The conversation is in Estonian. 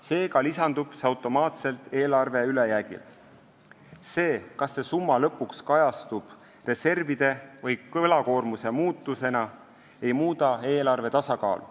Seega lisandub see automaatselt eelarve ülejäägile ja see, kas see summa kajastub lõpuks reservide või võlakoormuse muutusena, ei muuda eelarve tasakaalu.